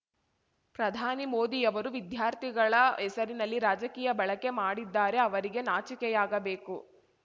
ಪ್ರಧಾನಿ ಮೋದಿಯವರು ವಿದ್ಯಾರ್ಥಿಗಳ ಹೆಸರಿನಲ್ಲಿ ರಾಜಕೀಯ ಬಳಕೆ ಮಾಡಿದ್ದಾರೆ ಅವರಿಗೆ ನಾಚಿಕೆಯಾಗಬೇಕು